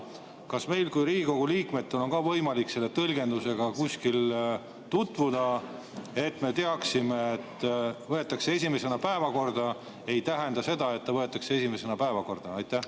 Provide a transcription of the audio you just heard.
Kas meil kui Riigikogu liikmetel on võimalik ka selle tõlgendusega kuskil tutvuda, et me teaksime, et "võetakse esimesena päevakorda" ei tähenda seda, et ta võetakse esimesena päevakorda?